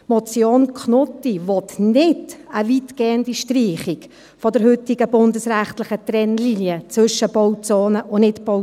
Die Motion Knutti will keine weitgehende Streichung der heutigen bundesrechtlichen Trennlinie zwischen Bauzone und Nichtbauzone.